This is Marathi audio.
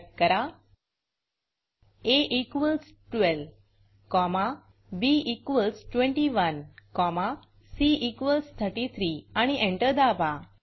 टाईप करा a12b21 c33 आणि एंटर दाबा